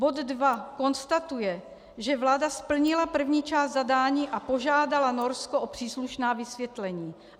Bod II - konstatuje, že vláda splnila první část zadání a požádala Norsko o příslušná vysvětlení.